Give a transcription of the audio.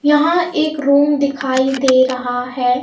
यहाँ एक रूम दिखाई दे रहा है.